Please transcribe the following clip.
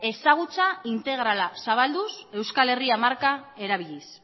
ezagutza integrala zabalduz euskal herria marka erabiliz